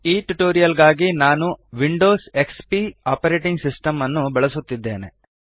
ಈ ಟ್ಯುಟೋರಿಯಲ್ ಗಾಗಿ ನಾನು ವಿಂಡೋಸ್ ಎಕ್ಸ್ಪಿ ಆಪರೇಟಿಂಗ್ ಸಿಸ್ಟೆಮ್ ಅನ್ನು ಬಳಸುತ್ತಿದ್ದೇನೆ